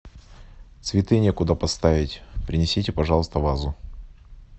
цветы некуда поставить принесите пожалуйста вазу